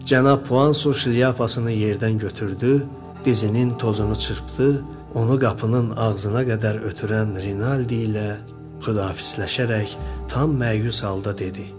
Cənab Puanso şlyapasını yerdən götürdü, dizinin tozunu çırpdı, onu qapının ağzına qədər ötürən Rinaldi ilə xudahafizləşərək tam məyus halda dedi.